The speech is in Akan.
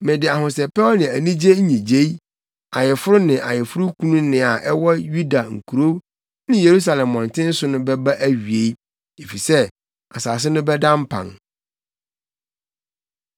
Mede ahosɛpɛw ne anigye nnyigyei, ayeforo ne ayeforokunu nne a ɛwɔ Yuda nkurow ne Yerusalem mmɔnten so no bɛba awiei, efisɛ asase no bɛda mpan.’ ”